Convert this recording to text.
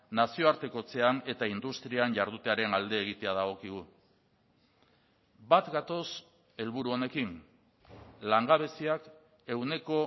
nazioartekotzean eta industrian jardutearen alde egitea dagokigu bat gatoz helburu honekin langabeziak ehuneko